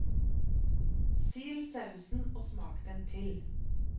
Sil sausen og smak den til.